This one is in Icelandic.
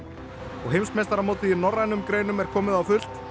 og heimsmeistaramótið í norrænum greinum er komið á fullt